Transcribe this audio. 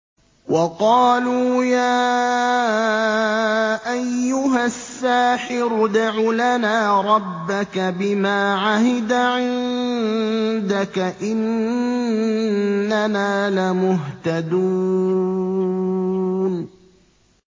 وَقَالُوا يَا أَيُّهَ السَّاحِرُ ادْعُ لَنَا رَبَّكَ بِمَا عَهِدَ عِندَكَ إِنَّنَا لَمُهْتَدُونَ